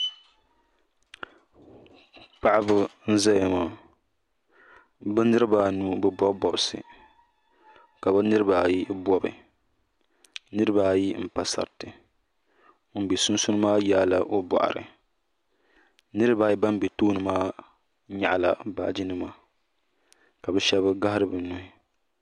paɣ' ba n zaya maa bɛ niribaanu be bɔbi bɔbisi ka be niribaayi bɔbi niribaayi n pa saratɛ ŋɔ bɛ sunisuuni maa n yɛ bɔbisi niribaayi ban bɛ tuuni maa be ka bɛ shɛbi gahiri be nuhi